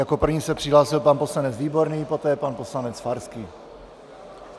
Jako první se přihlásil pan poslanec Výborný, poté pan poslanec Farský.